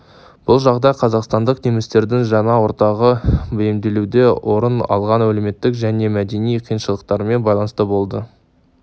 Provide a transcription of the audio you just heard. бұл жағдай қазақстандық немістердің жаңа ортаға бейімделуде орын алған әлеуметтік және мәдени қиыншылықтармен байланысты болды